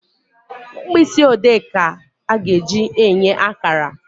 Mkpịsị ode ka a ga-eji enye akara